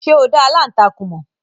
Ṣé o dá aláǹtakùn mọ̀?